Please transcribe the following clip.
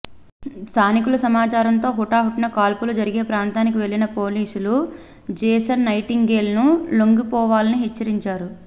స్థానికుల సమాచారంతో హుటాహుటిన కాల్పులు జరిగే ప్రాంతానికి వెళ్ళిన పోలీసులు జేసన్ నైటింగేల్ ను లొంగిపోవాలని హెచ్చరిచారు